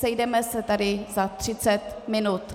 Sejdeme se tady za třicet minut.